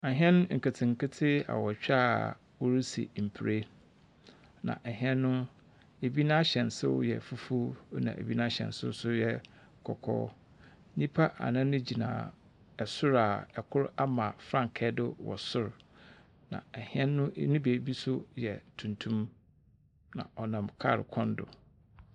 Ahyɛn nketsenketse awotwe a wɔdzi mper. Na ahyɛn no, ɛbi n'ahyɛnsodze yɛ fufuw, na bi n'ahyɛnso nso yɛ kɔkɔɔ. Nnipa anan gyina soro a kor ama frankaa do wɔsor. Na ahyɛn no e ne beebi nso yɛ tuntum. Na ɔnam kaal kwan do.